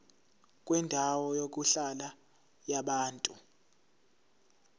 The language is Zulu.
kwendawo yokuhlala yabantu